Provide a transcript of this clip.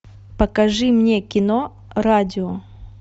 покажи мне кино радио